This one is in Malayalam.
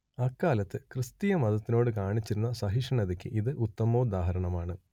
അക്കാലത്ത് ക്രിസ്തീയ മതത്തിനോടു കാണിച്ചിരുന്ന സഹിഷ്ണൂതക്ക് ഇത് ഉത്തമോദാഹരണമാണ്